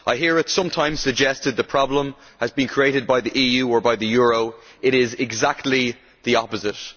I hear it sometimes suggested that the problem has been created by the EU, or by the euro, but it is exactly the opposite.